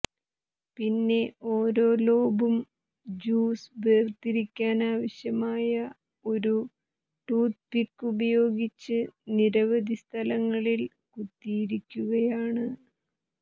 പിന്നെ ഓരോ ലോബും ജ്യൂസ് വേർതിരിക്കാനാവശ്യമായ ഒരു ടൂത്ത്പിക്ക് ഉപയോഗിച്ച് നിരവധി സ്ഥലങ്ങളിൽ കുത്തിയിരിക്കുകയാണ്